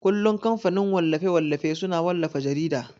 kullun kamfanin wallafe-wallafe suna wallafa jarida.